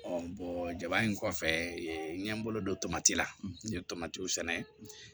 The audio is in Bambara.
jaba in kɔfɛ n ye n bolo don tomati la n ye tomatiw sɛnɛ